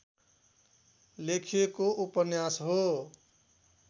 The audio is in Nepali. लेखिएको उपन्यास हो